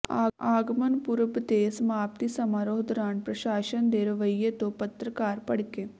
ਆਗਮਨ ਪੁਰਬ ਦੇ ਸਮਾਪਤੀ ਸਮਾਰੋਹ ਦੌਰਾਨ ਪ੍ਰਸ਼ਾਸਨ ਦੇ ਰਵੱਈਆ ਤੋਂ ਪੱਤਰਕਾਰ ਭੱੜਕੇ